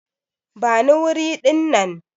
Bani wuri dinnan!